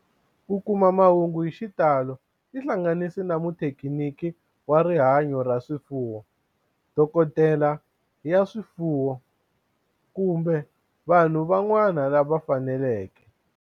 Ku kuma mahungu hi xitalo tihlanganisi na muthekiniki wa rihanyo ra swifuwo, dokodela ya swifuwo, kumbe vanhu van'wana lava fanelekeke